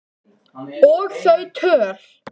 Og þau töl